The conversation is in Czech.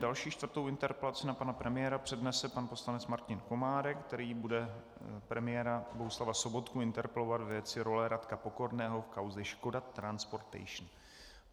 Další, čtvrtou interpelaci na pana premiéra přednese pan poslanec Martin Komárek, který bude premiéra Bohuslava Sobotku interpelovat ve věci role Radka Pokorného v kauze Škoda Transportation.